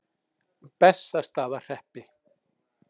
Bessastaðahreppi